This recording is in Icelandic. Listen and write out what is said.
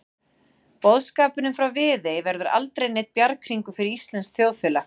Boðskapurinn frá Viðey verður aldrei neinn bjarghringur fyrir íslenskt þjóðfélag.